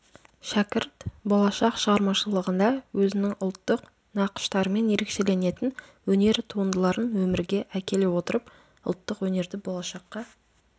шәкірт болашақ шығармашылығында өзінің ұлттық нақыштарымен ерекшеленетін өнер туындыларын өмірге әкеле отырып ұлттық өнерді болашаққа